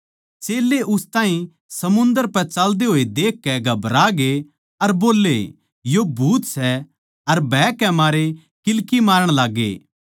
चेल्लें उस ताहीं समुन्दर पै चाल्दे होए देखकै घबरागे अर बोल्ले यो भूत सै अर भय के मारे किल्की मारण लाग्गे